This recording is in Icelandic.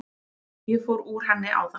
Ég fór úr henni áðan.